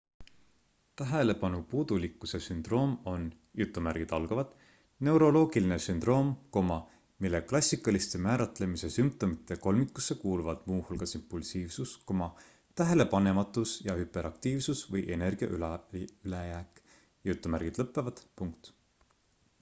tähelepanupuudulikkuse sündroom on neuroloogiline sündroom mille klassikaliste määratlemise sümptomite kolmikusse kuuluvad muu hulgas impulsiivsus tähelepanematus ja hüperaktiivsus või energia ülejääk